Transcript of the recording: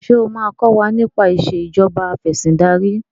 ṣe o ma kò wá nipa Ìṣèjọba Afẹ̀sìndarí